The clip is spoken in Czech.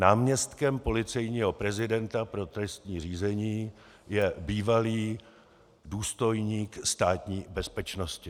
Náměstkem policejního prezidenta pro trestní řízení je bývalý důstojník Státní bezpečnosti.